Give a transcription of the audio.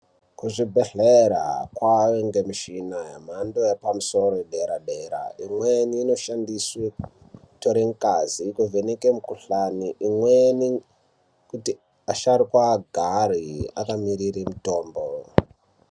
Kuzvibhehlera kwangemishina yemhando yepamusoro yedera dera imweni inoshandiswa kutora ngazi kuvheneka mukuhlani imweni kuti asharukwa agare akamirire mutombo.